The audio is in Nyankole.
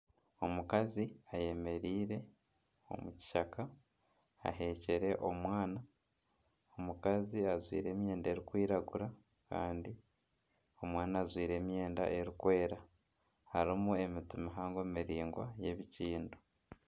Omukazi ayemereire omu kishaka aheekire omwana. Omukazi ajwaire emyenda erikwirgura kandi omwana ajwaire emyenda erikwera harimu emiti mihango miraingwa. y'ebikindo.